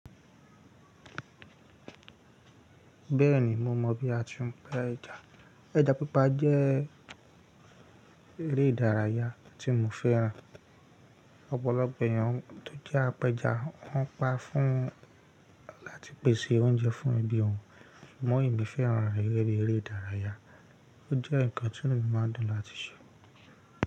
Bẹ́ẹ̀ ni, mo mọ̀ bí a ti ń pẹ ja. Ẹja pípa jẹ́-- eré ìdárayá tí mò fẹ́ràn. Ọ̀pọ̀lọpọ̀ èèyàn tó jẹ́ apẹja, wọ́n pa fún láti pèsè oúnjẹ fún ẹbí wọn. Ṣùgbọ́n èmi fẹ́ràn rẹ̀ gẹ́gẹ́ bí eré ìdárayá, ó jẹ́ nǹkan tí mo máa ń dùn láti ṣe.